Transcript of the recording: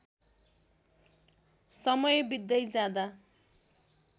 समय बित्दै जाँदा